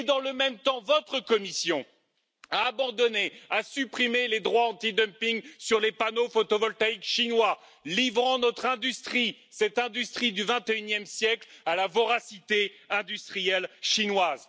Dans le même temps, votre Commission a abandonné, a supprimé les droits anti dumping sur les panneaux photovoltaïques chinois, livrant notre industrie, cette industrie du XXIe siècle, à la voracité industrielle chinoise.